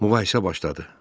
Mübahisə başladı.